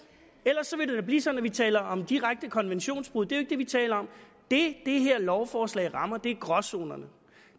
ellers ville det blive sådan at vi taler om direkte konventionsbrud jo ikke det vi taler om det det her lovforslag rammer er gråzonerne